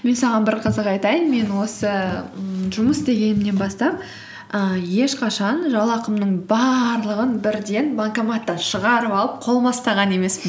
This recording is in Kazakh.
мен саған бір қызық айтайын мен осы ммм жұмыс істегенімнен бастап ііі ешқашан жалақымның барлығын бірден банкоматтан шығарып алып қолыма ұстаған емеспін